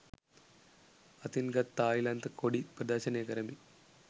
අතින් ගත් තායිලන්ත කොඩි ප්‍රදර්ශනය කරමින්